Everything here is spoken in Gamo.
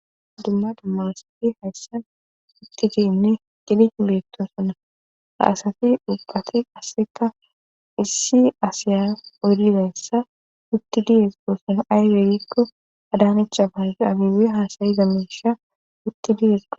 Dumma dummaasafi hayssan wutti diyinne qidiq beettosonna ha asafi dhubbati asseka issi asiya oyridassa utti dies goossona aygeegikko adaanicha pazo abiwe haasayiza meisha wutti dies go